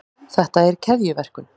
þetta er keðjuverkun